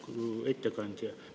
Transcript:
Lugupeetud ettekandja!